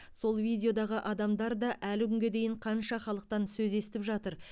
сол видеодағы адамдар да әлі күнге дейін қанша халықтан сөз естіп жатыр